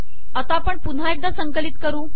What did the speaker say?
आता आपण पुन्हा एकदा संकलित करू